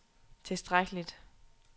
tilstrækkeligt